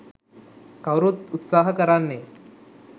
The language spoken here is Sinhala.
කවුරුත් උත්සහ කරන්නේ